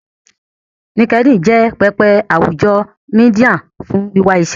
linkedin jé pẹpẹ àwùjọ media fún wiwà iṣé.